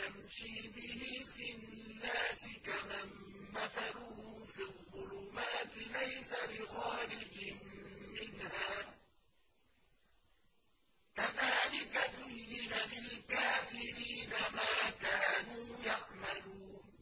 يَمْشِي بِهِ فِي النَّاسِ كَمَن مَّثَلُهُ فِي الظُّلُمَاتِ لَيْسَ بِخَارِجٍ مِّنْهَا ۚ كَذَٰلِكَ زُيِّنَ لِلْكَافِرِينَ مَا كَانُوا يَعْمَلُونَ